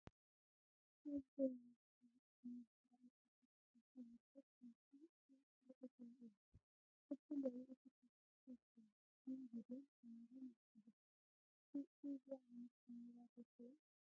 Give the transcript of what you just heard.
ናይዚ ዘመን ካብ ብጣዕሚ ዝተራቐቓ ድጂታል ካሜራታት ሓንቲ እታ ትረአ ዘላ እያ፡፡ ክልተን ልዕሊኡን ስራሕቲ ትሰርሕ እያ፣ ከም ቪድዮን ካሜራን ይጥቀሱ፡፡ ከዚኣ ዓይነት ካሜራ ዶ ትሪኡ?